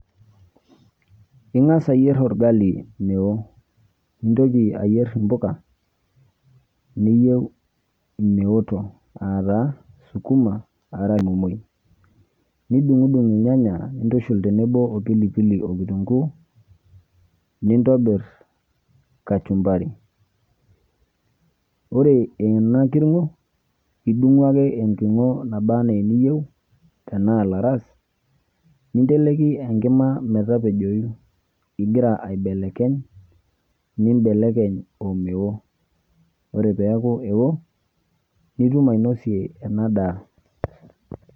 Ingasa ayier orgali meo, nintoki ayier mbuka niyieu meoto aataa sukuma nidungdung irnyanya nintushul tenebo opilipili, okitunguu nintobir kachumbari ore enakiringo idungu ake enkiringo naba anaa niyieu tanaa laras ninteleki enkima metepejoyu ingira aibelekeny, nimbelekeny omeo, ore peaku eo nitum ainosie enadaa.